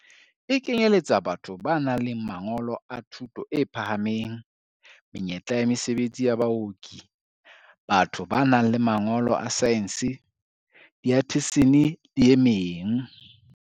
E kenyeletsa batho ba nang le mangolo a thuto e phahameng, menyetla ya mesebetsi ya baoki, batho ba nang le mangolo a saense, diathesine le e meng.